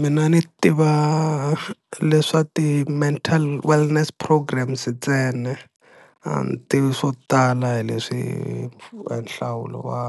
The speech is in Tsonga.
Mina ni tiva leswa ti-mental wellness programs ntsena ani tivi swo tala hi leswi a nhlawulo wa